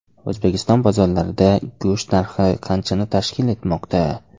O‘zbekiston bozorlarida go‘sht narxi qanchani tashkil etmoqda?.